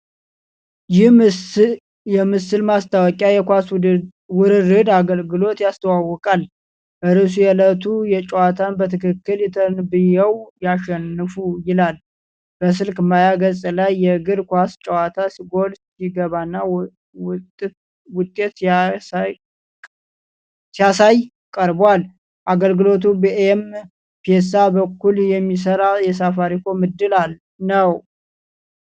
ይህ የምስል ማስታወቂያ የኳስ ውርርድ አገልግሎትን ያስተዋውቃል። ርዕሱ የእለቱ ጨዋታን በትክክል ተንብየው ያሸንፉ ይላል። በስልክ ማያ ገጽ ላይ የእግር ኳስ ጨዋታ ጎል ሲገባና ውጤት ሲያሳይ ቀርቧል። አገልግሎቱ በኤም-ፔሳ በኩል የሚሠራ የሳፋሪኮም ዕድል ነው።